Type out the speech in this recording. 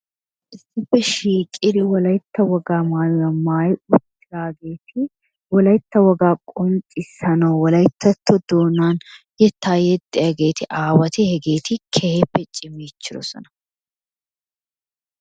Issippe shiiqidi wolaytta wogaa maayuwa maayi uttidageti wolaytta wogaa qonccissanawu wolayttato doonan yettaa yexxiyageti aawati hegeti keehippe cimiichchidosona.